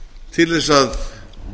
til þess að